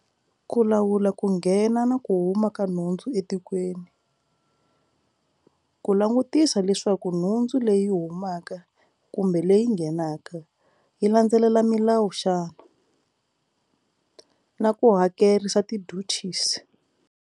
Ku lawula ku nghena na ku huma ka nhundzu etikweni ku langutisa leswaku nhundzu leyi humaka kumbe leyi nghenaka yi landzelela milawu xana na ku hakerisa ti duties.